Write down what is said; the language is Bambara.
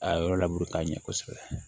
A yɔrɔ laburu k'a ɲɛ kosɛbɛ